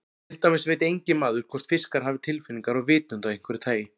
Til dæmis veit enginn maður hvort fiskar hafa tilfinningar og vitund af einhverju tagi.